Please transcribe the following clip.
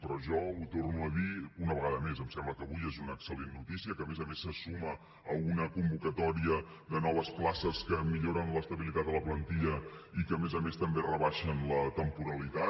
però jo ho torno a dir una vegada més em sembla que avui és una excel·lent notícia que a més a més se suma a una convocatòria de noves places que milloren l’estabilitat de la plantilla i que a més a més també rebaixen la temporalitat